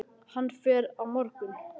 Hann fer á morgun.